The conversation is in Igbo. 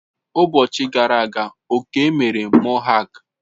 Ụbọchi gara aga Okey mere mohak.